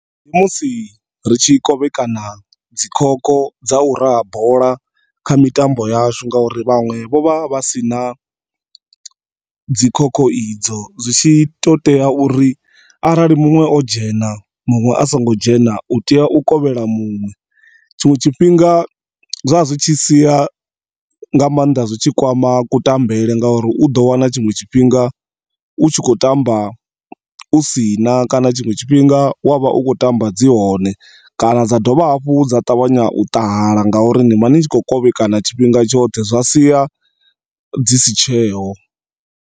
Ndi musi ritshi kovhekana dzi khokho dza u raha bola kha mitambo yashu ngori vhaṅwe vho vha vhasina dzi khokho idzo, zwitshi to tea uri arali munwe o dzhena munwe asongo dzhena u tea u kovhela muṅwe. Tshinwe tshifhinga zwa zwi tshi sia nga maanḓa zwitshi kwama ku tambela nga uri uḓo wana tshiṅwe tshifhinga u tshi kho tamba u si na kana tshiṅwe tshifhinga wa vha u kho tamba dzi hone kana dza dovha hafhu dza ṱavhanya u ṱahala ngauri nivha nitshi kho kovhekana tshifhinga tshoṱhe zwa sia dzi si tsheho.